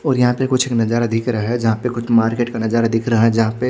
और यहाँ पे कुछ एक नजारा दिख रहा है जहाँ पे कुछ मार्केट का नजारा दिख रहा है जहाँ पे --